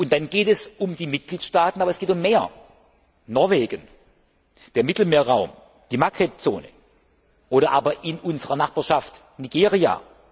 Dann geht es um die Mitgliedstaaten, aber es geht um mehr, um Norwegen, den Mittelmeerraum, die Maghreb Zone, oder aber in unserer Nachbarschaft Nigeria.